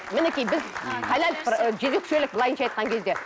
мінекей біз халал ы жезөкшелік былайынша айтқан кезде